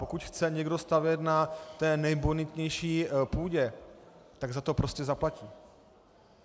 Pokud chce někdo stavět na té nejbonitnější půdě, tak za to prostě zaplatí.